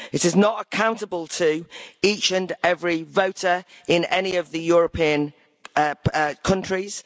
It is not accountable to each and every voter in any of the European countries.